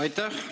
Aitäh!